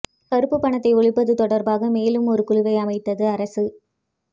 கருப்புப் பணத்தை ஒழிப்பது தொடர்பாக மேலும் ஒரு குழுவை அமைத்தது அரசு